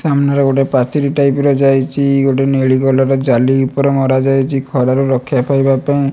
ସାମ୍ନାରେ ଗୋଟେ ପାଚିରି ଟାଇପ ର ଯାଇଚି। ଗୋଟେ ନେଳି କଲର୍ ଜାଲି ଉପରେ ମରା ଯାଇଚି। ଖର ରୁ ରକ୍ଷା ପାଇବା ପାଇଁ।